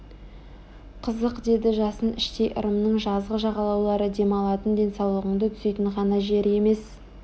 қызық деді жасын іштей ырымның жазғы жағалаулары демалатын денсаулығыңды түзейтін ғана жер емес